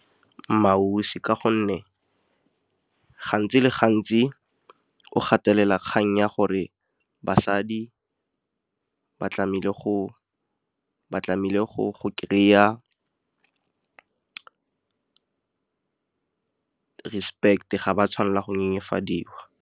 MmaAusi ka gonne gantsi le gantsi o gatelela kgang ya gore basadi ba tlamehile go kry-a respect-e ga ba tshwanela go nyenyefadiwa